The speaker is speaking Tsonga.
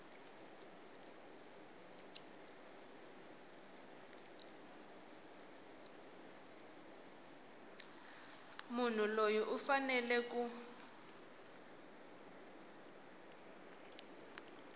munhu loyi u fanele ku